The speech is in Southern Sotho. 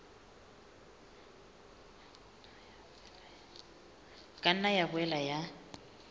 ka nna ya boela ya